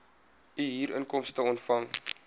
u huurinkomste ontvang